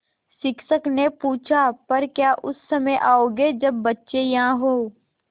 शिक्षक ने पूछा पर क्या उस समय आओगे जब बच्चे यहाँ हों